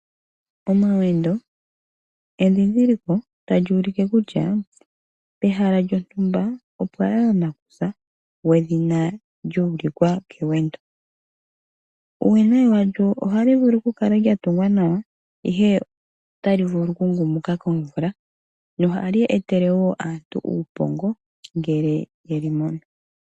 Omawendo endhindhiliko tali ulike kutya pehala lyontumba opwalala nakusa gwedhina lyuulikwa kewendo. Uuwinayi walyo ohali vulu okukala lyatungwa nawa, ihe otali vulu okukumuka komvula mohali etele aantu uupongo.